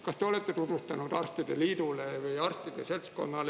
Kas te olete tutvustanud arstide liidule või arstide seltskonnale?